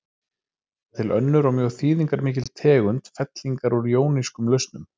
Það er til önnur og mjög þýðingarmikil tegund fellingar úr jónískum lausnum.